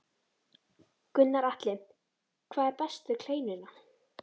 Gunnar Atli: Hvað er best við kleinuna?